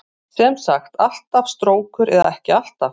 Sem sagt alltaf strókur eða ekki alltaf?